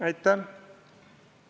Aitäh!